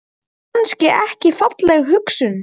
Er það kannski ekki falleg hugsjón?